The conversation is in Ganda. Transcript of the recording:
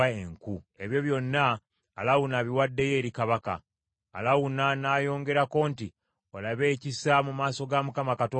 Ebyo byonna, Alawuna abiwaddeyo eri kabaka.” Alawuna n’ayongerako nti, “Olabe ekisa mu maaso ga Mukama Katonda wo.”